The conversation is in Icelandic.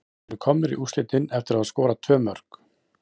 Við erum komnir í úrslitin eftir að hafa skorað tvö mörk.